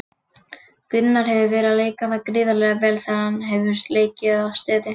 Gunnar hefur verið að leika það gríðarlega vel þegar hann hefur leikið þá stöðu.